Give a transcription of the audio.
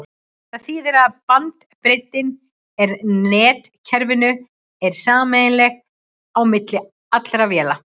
það þýðir að bandbreiddin í netkerfinu er sameiginleg á milli allra véla